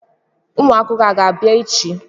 Ụmụ akwụkwọ a ga-abịa echi?